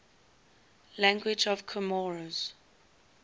languages of comoros